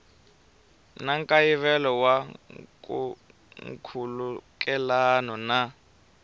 na nkayivelo wa nkhulukelano na